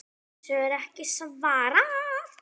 Þessu er ekki svarað.